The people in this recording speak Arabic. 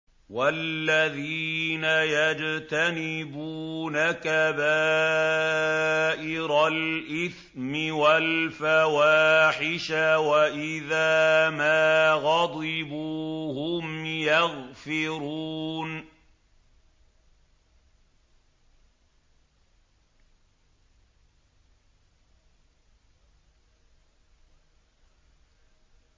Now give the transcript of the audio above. وَالَّذِينَ يَجْتَنِبُونَ كَبَائِرَ الْإِثْمِ وَالْفَوَاحِشَ وَإِذَا مَا غَضِبُوا هُمْ يَغْفِرُونَ